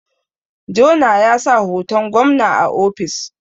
Jona ya sa hoton gwamna a ofis